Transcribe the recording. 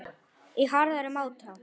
í harðari máta.